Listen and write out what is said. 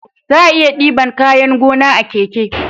Za'a iya diban kayan gona a keke